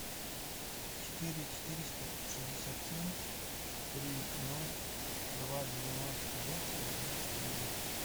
четыре четыреста шестьдесят семь три ноль два девяносто восемь тридцать девять